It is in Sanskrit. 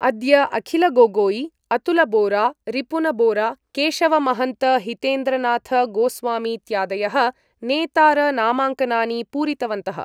अद्य अखिलगोगोई अतुलबोरारिपुनबोराकेशवमहन्तहितेन्द्रनाथगोस्वामीत्यादयः नेतार नामाङ्कनानि पूरितवन्तः।